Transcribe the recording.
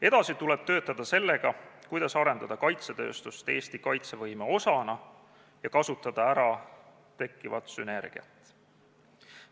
Edasi tuleb töötada selle kallal, kuidas arendada kaitsetööstust Eesti kaitsevõime osana ja kasutada ära tekkivat sünergiat.